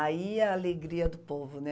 Aí é a alegria do povo, né?